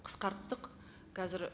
қысқарттық қазір